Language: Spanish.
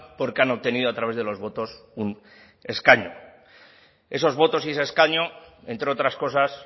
porque han obtenido a través de los votos un escaño esos votos y ese escaño entre otras cosas